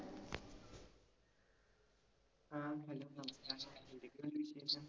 ആഹ് hello നമസ്കാരം. എന്തൊക്കെയുണ്ട് വിശേഷം?